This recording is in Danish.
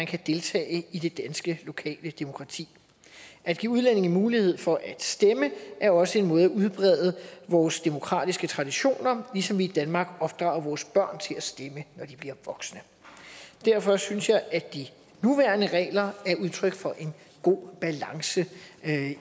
kan deltage i det danske lokale demokrati at give udlændinge mulighed for at stemme er også en måde at udbrede vores demokratiske traditioner på ligesom vi i danmark opdrager vores børn til at stemme når de bliver voksne derfor synes jeg at de nuværende regler er udtryk for en god balance